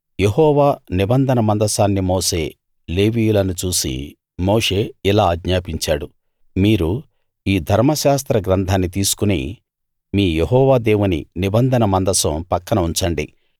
యెహోవా నిబంధన మందసాన్ని మోసే లేవీయులను చూసి మోషే ఇలా ఆజ్ఞాపించాడు మీరు ఈ ధర్మశాస్త్ర గ్రంథాన్ని తీసుకుని మీ యెహోవా దేవుని నిబంధన మందసం పక్కన ఉంచండి